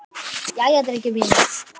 Jæja, drengir mínir!